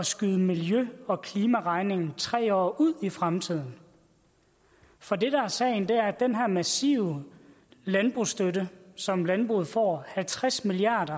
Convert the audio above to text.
skyde miljø og klimaregningen tre år ud i fremtiden for det der er sagen er at den her massive landbrugsstøtte som landbruget får halvtreds milliard